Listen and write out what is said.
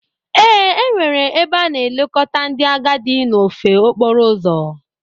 Ee, enwere ebe a na-elekọta ndị agadi n'ofe okporo ụzọ.